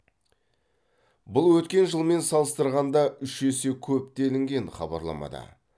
бұл өткен жылмен салыстырғанда үш есе көп делінген хабарламада